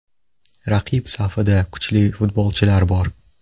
Raqib safida kuchli futbolchilar bor.